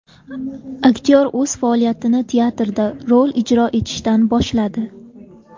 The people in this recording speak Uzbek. Aktyor o‘z faoliyatini teatrda rol ijro etishdan boshladi.